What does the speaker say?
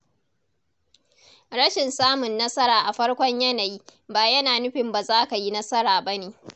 Rashin samun nasara a farkon yanayi ba yana nufin ba za ka yi nasara ba ne.